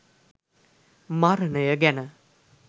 මරණය ගැන.